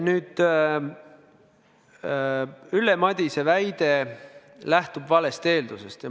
Ülle Madise väide lähtub valest eeldusest.